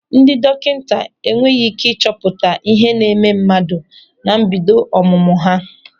Ndị dọkịta enweghị ị́ké ịchọpụta ihe na-eme mmadụ na mbido ọmụmụ ha.